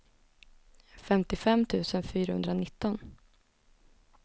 femtiofem tusen fyrahundranitton